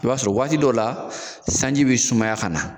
I b'a sɔrɔ waati dɔw la sanji bi sumaya ka na